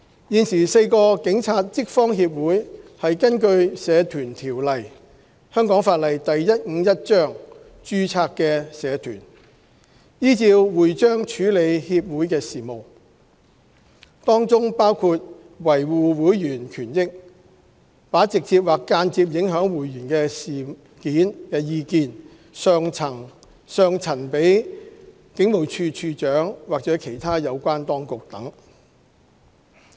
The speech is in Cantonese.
現時4個警察職方協會是根據《社團條例》註冊的社團，依照會章處理協會事務，當中包括維護會員權益、把直接或間接影響會員事件的意見上陳警務處處長或其他有關當局等。